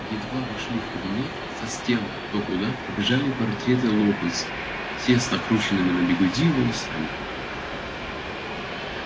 едва вошли в кабинет со стен кто куда побежали портреты локонса все с накрученными на бигуди волосами